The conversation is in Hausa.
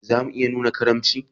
Ya za mu iya nuna karimci?